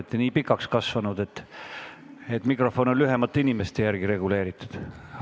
Te olete nii pikaks kasvanud, mikrofon on lühemate inimeste järgi reguleeritud.